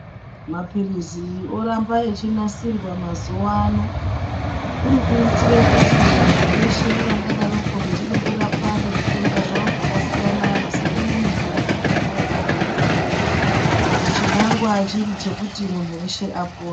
Maphirizi oramba achinasirwa mazuva ano. Kuri kuitire kuti vantu veshe vangadaroko vechide kurapwa ngezvitenda zvavo zvakasiyana vasatame mitombo ngenguva yavanoida. Chinangwa chiri chekuti muntu veshe apone.